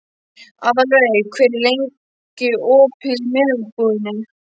Aðalveig, hvað er lengi opið í Melabúðinni?